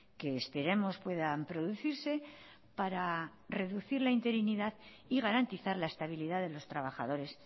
que esperemos puedan producirse para reducir la interinidad y garantizar la estabilidad de los trabajadores